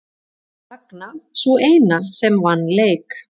Ragna sú eina sem vann leik